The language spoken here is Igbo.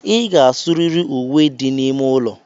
Ị ga-asụrịrị uwe dị n'ime ụlọ